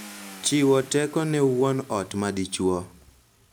Chiwo teko ne wuon ot ma dichuo